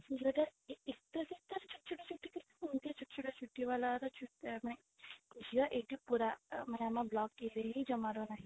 ଝିଅଟା ଏତେ ଛୋଟ ଛୋଟ ଛୁଟି ବାଲା ଝିଅ ଏଇଠି ପୁରା ମାନେ ଆମ